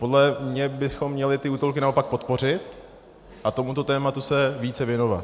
Podle mě bychom měli ty útulky naopak podpořit a tomuto tématu se více věnovat.